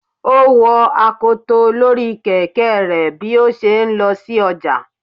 o wo akotò Lori Kẹkẹ rẹ bi o ṣe n lo sí ojá